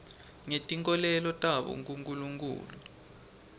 ngetinkholelo tabo kunkulunkhulu